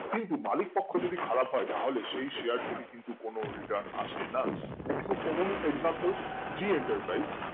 কিন্তু মালিক পক্ষ যদি খারাপ হয় তাহলে সেই share থেকে কিন্তু কোনো return কিন্তু আসে না একটুকু common exampleg enter prise